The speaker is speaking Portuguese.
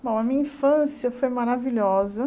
Bom, a minha infância foi maravilhosa.